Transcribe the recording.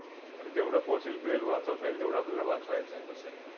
तर जेवढं fossil fuel वाचवता येईल, तेवढं आपल्याला वाचवायचं आहे तसे.